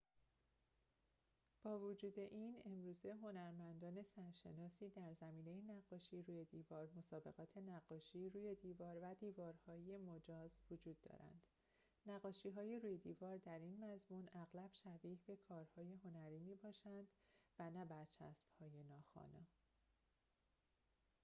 با وجود این امروزه هنرمندان سرشناسی در زمینه نقاشی روی دیوار مسابقات نقاشی روی دیوار و دیوارهای مجاز وجود دارند نقاشی‌های روی دیوار در این مضمون اغلب شبیه به کارهای هنری می‌باشند و نه برچسب‌های ناخوانا